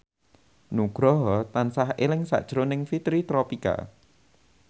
Nugroho tansah eling sakjroning Fitri Tropika